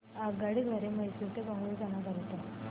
आगगाडी द्वारे मैसूर ते बंगळुरू जाण्या करीता